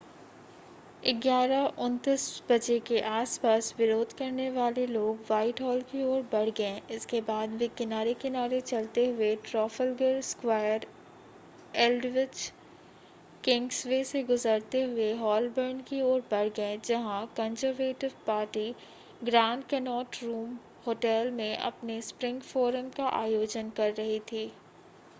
11:29 बजे के आस-पास विरोध करने वाले लोग व्हाइटहॉल की ओर बढ़ गए इसके बाद वे किनारे-किनारे चलते हुए ट्राफ़ल्गर स्क्वायर एल्डविच किंग्सवे से गुजरते हुए होलबर्न की ओर बढ़ गए जहां Conservative Party Grand Connaught Room Hotel में अपने स्प्रिंग फ़ोरम का आयोजन कर रही थी